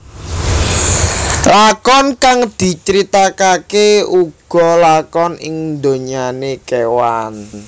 Lakon kang diceritakake uga lakon ing donyane kewan